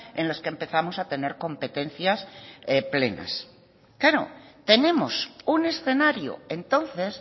en los que empezamos a tener competencias plenas claro tenemos un escenario entonces